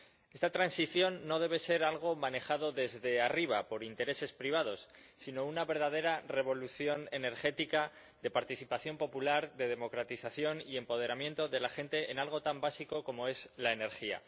Esta transición no debe ser algo manejado desde arriba, por intereses privados, sino una verdadera revolución energética de participación popular, de democratización y empoderamiento de la gente en algo tan básico como es la energía.